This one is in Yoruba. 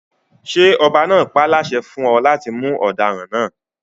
Ṣé ọba náà páláṣẹ fún ọ láti mú ọdaràn náà?